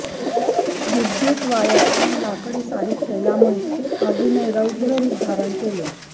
विद्यूत वायर आणि लाकडी साहित्य यामुळे आगीने रौद्र रुप धारण केले